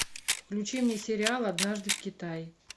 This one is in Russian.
включи мне сериал однажды в китае